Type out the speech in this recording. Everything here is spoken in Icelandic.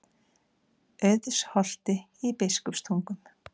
Auðsholti í Biskupstungum.